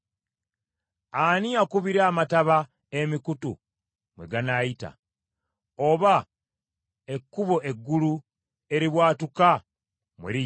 Ani akubira amataba emikutu mwe ganaayita, oba ekkubo eggulu eribwatuka mwe liyita?